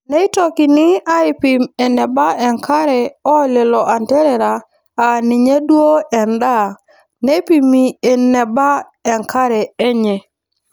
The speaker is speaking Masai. Neitokini aaipim eneba enkare oo lelo anterera aaninye duoo endaa neipimi eneba enkare enye.